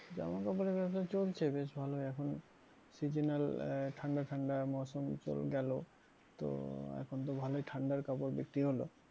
জামা কাপড়ের ব্যবসা চলছে বেশ ভালোই এখন seasonal আহ ঠান্ডা ঠান্ডা মৌসম গেল তো এখন তো ভালোই ঠান্ডার কাপড় বিক্রি হলো,